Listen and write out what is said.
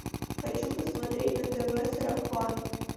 хочу посмотреть на тв сарафан